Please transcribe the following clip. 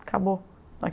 Acabou.